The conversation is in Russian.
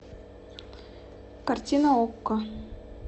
картина окко